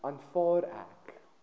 aanvaar ek